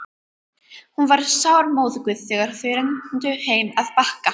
Hún var sármóðguð þegar þau renndu heim að Bakka.